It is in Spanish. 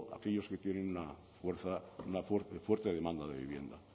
aquellos que tienen una fuerte demanda de vivienda